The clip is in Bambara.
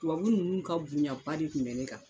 Tubabu nunnu ka bonyaba de bɛ ne kan